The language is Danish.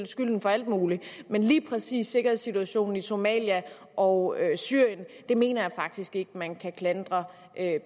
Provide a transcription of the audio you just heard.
skylden for alt muligt men lige præcis sikkerhedssituationen i somalia og syrien mener jeg faktisk ikke man kan klandre